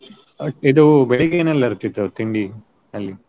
ಇದು ಬೆಳಿಗ್ಗೆ ಏನೆಲ್ಲಾ ಇರ್ತಿತ್ತು ತಿಂಡಿ ಅಲ್ಲಿ?